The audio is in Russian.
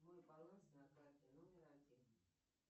мой баланс на карте номер один